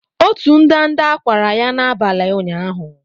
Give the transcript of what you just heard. Otu ndanda kwara ya n'abalị ụnyaahụ.